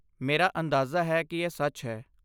ਮੇਰਾ ਅੰਦਾਜ਼ਾ ਹੈ ਕਿ ਇਹ ਸੱਚ ਹੈ।